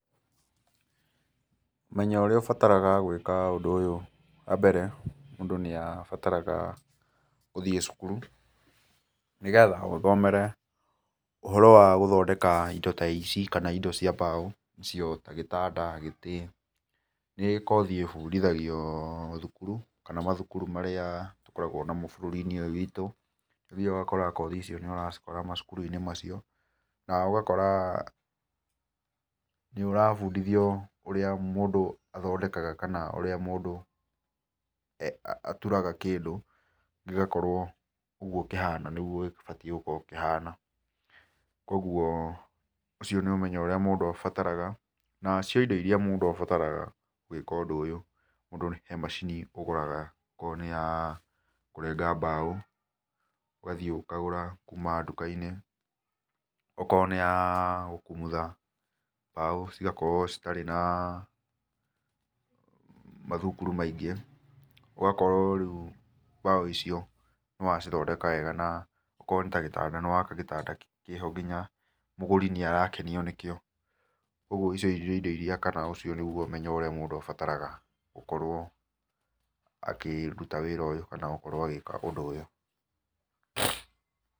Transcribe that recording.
Ũmenyo ũrĩa ũbataraga gwĩka ũndũ ũyũ wa mbere, mũndũ nĩ abataraga ũthiĩ cukuru, nĩgetha ũthomere ũhoro wa gũthondeka indo ta ici kana indo cia mbaũ nĩcio ta gĩtanda, gĩtĩ, nĩ kothi ĩbundithagio mathukuru, kana mathukuru marĩa tũkoragwo namo bũrũri-inĩ ũyũ witũ, nĩ ũthiaga ũgakora kothi icio nĩ ũracikora macukuru-inĩ macio na ũgakora nĩ ũrabundithio ũrĩa mũndũ athondekaga kana ũrĩa mũndũ aturaga kĩndũ gĩgakorwo ũguo kĩhana nĩguo gĩbatiĩ gũkorwo kĩhana. Kũguo ũcio nĩ ũmenyo ũrĩa mũndũ abataraga, nacio indo iria mũndũ abataraga gwĩka ũndũ ũyũ, kũrĩ macini ũgũraga okorwo nĩ ya kũrenga mbaũ ũgathiĩ ũkagũra kuma nduka-inĩ, okorwo nĩ ya gũkumutha mbaũ cigakorwo citarĩ na mathunguru maingĩ, ũgakorwo rĩu mbaũ icio nĩ wacithondeka wega na okorwo nĩ ta gĩtanda, nĩ waka gĩtanda kĩho nginya mũgũri nĩ arakenio nĩkĩo ũguo icio nĩ indo iria kana ũcio nĩguo ũmenyo ũrĩa mũndũ abataraga gũkorwo akĩruta wĩra ũyũ kana gũkorwo agĩka ũndũ ũyũ.